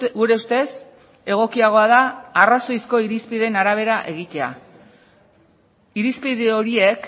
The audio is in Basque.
gure ustez egokiagoa da arrazoizko irizpideen arabera egitea irizpide horiek